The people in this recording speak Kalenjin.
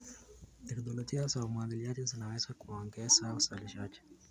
Teknolojia za umwagiliaji zinaweza kuongeza uzalishaji.